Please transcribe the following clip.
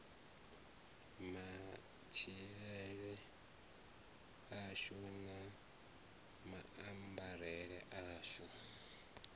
matshilele ashu na maambarele ashu